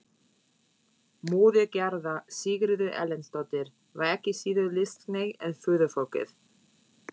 Móðir Gerðar, Sigríður Erlendsdóttir, var ekki síður listhneigð en föðurfólkið.